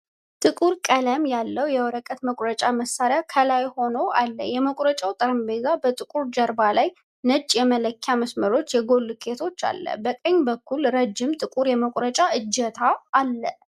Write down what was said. ጥቁር ቀለም ያለው የወረቀት መቁረጫ መሳሪያ ከላይ ሆኖ አለ። የመቁረጫው ጠረጴዛ በጥቁር ጀርባ ላይ ነጭ የመለኪያ መስመሮችና የጎን ልኬቶችን አለ። በቀኝ በኩል ረጅም ጥቁር የመቁረጫ እጀታ አለ።